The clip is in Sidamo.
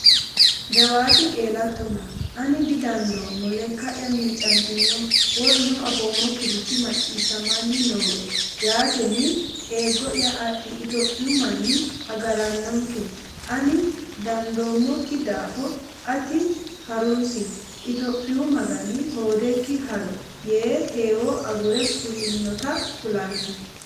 jawaati qeelattona, ani didandoommo, lekka’ya miicantino; woluno afoommokkirichi maccii- shshamanni nooe; yaatenni eeggo’ya adhi; Itophiyu manni agarannonke; ani dandoommokki daafo ati ha’runsi; Itophiyu magani hoodekki ha’ro yee heewo agure fulinota kullanni.